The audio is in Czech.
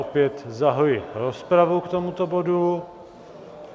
Opět zahajuji rozpravu k tomuto bodu.